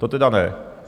To teda ne.